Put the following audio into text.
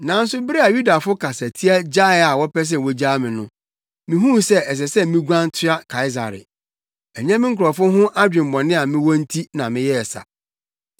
Nanso bere a Yudafo kasatia gyae a wɔpɛ sɛ wogyaa me no, mihuu sɛ ɛsɛ sɛ miguan toa Kaesare. Ɛnyɛ me nkurɔfo ho adwemmɔne a mewɔ nti na meyɛɛ saa.